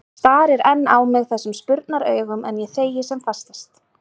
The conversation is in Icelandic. Starir enn á mig þessum spurnaraugum, en ég þegi sem fastast.